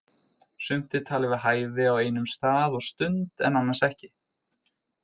Sumt er talið við hæfi á einum stað og stund en annars ekki.